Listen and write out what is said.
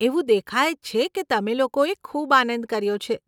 એવું દેખાય જ છે કે તમે લોકોએ ખૂબ આનંદ કર્યો છે.